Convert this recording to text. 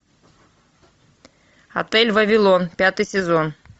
отель вавилон пятый сезон